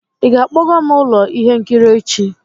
ị ga-akpọga m ụlọ ihe nkiri echi?